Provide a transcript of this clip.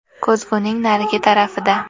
Ko‘zguning narigi tarafida.